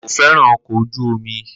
Ko fẹràn ọkọ ojú omi